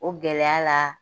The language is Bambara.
O gɛlɛya la